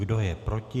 Kdo je proti?